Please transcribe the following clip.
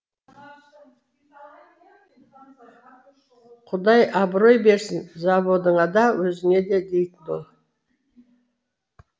құдай абырой берсін заводыңа да өзіңе дейтін ол